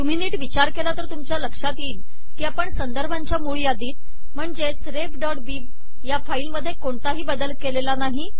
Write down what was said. तुम्ही निट विचार केला तर तुमच्या लक्ष्यात येईल कि आपण संदर्भांच्या मूळ यादीत म्हणजेच refबिब या फाईल मध्ये कोणताही बदल केलेला नाही